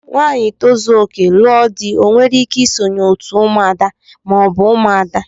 Nwanyi tozuoke, lụọ di o nwere ike isonye otú ụmụ ada ma ọbu ụmụada.